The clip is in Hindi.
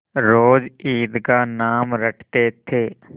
रोज ईद का नाम रटते थे